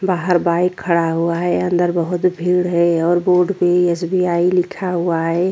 बाहर बाइक खड़ा हुआ है अंदर बहुत भीड़ है और रोड पे एस_ बी _आई लिखा हुआ हैं ।